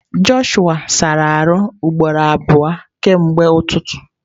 Jọshụa asala ahụ ugboro abụọ kemgbe ụtụtụ.